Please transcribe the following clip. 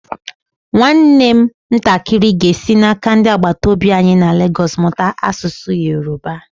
Nwam ntakịrị ga-esi n'aka ndị agbataobi anyi na Lagos mụta asụsụ Yorùbá.